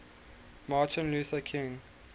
martin luther king